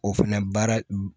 O fɛnɛ baara